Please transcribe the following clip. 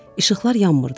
İşıqlar yanmırdı.